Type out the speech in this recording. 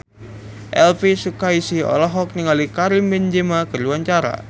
Elvi Sukaesih olohok ningali Karim Benzema keur diwawancara